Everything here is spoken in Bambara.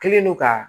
Kɛlen don ka